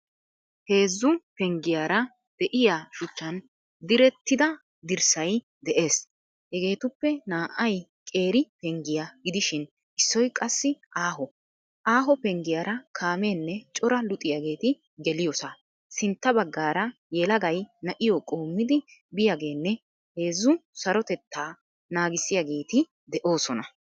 Heezzu peengiyaara de^iyaa shuchchan diirettida diirssayi de^ees. Heegetuppe naa^ayi qeeri peengiyaa giidishin issoy qaasi aho. Aho peengiyaara kaamenne cora luuxiyageeti geeliyoosa. sintta bagaara yeelagayi na^iyo qommidi biyageenne heezzu sarotteta naagissiyageeti de^osoona.